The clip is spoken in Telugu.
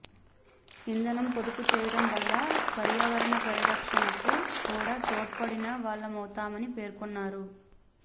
ఇంధనం పొదుపు చేయడం వల్ల పర్యావరణ పరిరక్షణకు కూడా తోడ్పడిన వాళ్లమవుతామని పేర్కొన్నారు